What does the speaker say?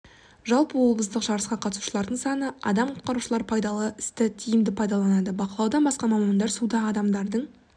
жалпы облыстық жарысқа қатысушылардың саны адам құтқарушылар пайдалы істі тиімді пайдаланды бақылаудан басқа мамандар суда адамдардың